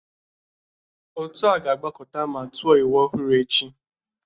Otu a ga-agbakọta ma tụọ iwu ọhụrụ echi